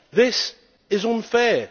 This is unfair.